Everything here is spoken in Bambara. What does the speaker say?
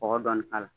Kɔgɔ dɔɔni k'a la